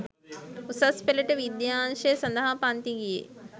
උසස් පෙළට විද්‍යා අංශය සඳහා පන්ති ගියේ.